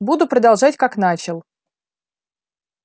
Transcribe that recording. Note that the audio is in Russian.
буду продолжать как начал